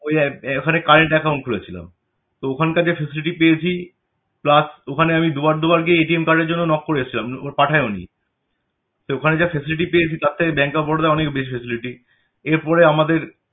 তো ওই ওখানে current account খুলেছিলাম তো ওখানকার যা facility পেয়েছি plus ওখানে আমি দুবার দুবার গিয়ে card এর জন্য knock করেছিলাম, ওরা পাঠায়ওনি। তো ওখানে যা facility পেয়েছি তার থেকে Bank of Baroda য় অনেক বেশি facility এর পরে আমাদের